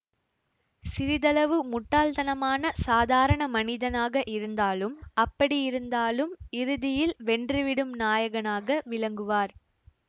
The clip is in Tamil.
சிறிதளவு முட்டாள்தனமான சாதாரண மனிதனாக இருந்தாலும் அப்படி இருந்தாலும் இறுதியில் வென்றுவிடும் நாயகனாக விளங்குவார்